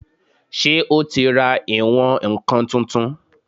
Ṣé o ti ra ìwọ̀n-ǹkan tuntun?